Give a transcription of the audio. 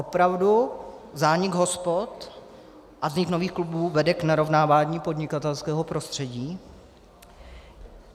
Opravdu zánik hospod a vznik nových klubů vede k narovnávání podnikatelského prostředí?